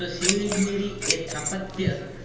તો civil engineering એ તેની સ્થાપત્ય